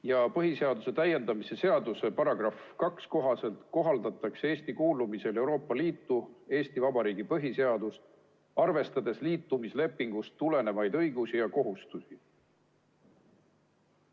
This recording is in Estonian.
Ja põhiseaduse täiendamise seaduse § 2 kohaselt kohaldatakse Eesti kuulumisel Euroopa Liitu Eesti Vabariigi põhiseadust, arvestades liitumislepingust tulenevaid õigusi ja kohustusi.